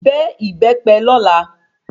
Bẹ ìbépe lola